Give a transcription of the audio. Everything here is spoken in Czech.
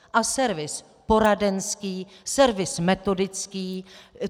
A servis poradenský, servis metodický.